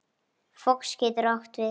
Fox getur átt við